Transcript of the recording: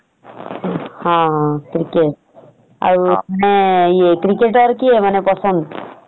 ହଁ ଅଁ cricket ଆଉ ଇଏ ମାନେ cricketer କିଏ ମାନେ ପସନ୍ଦ ?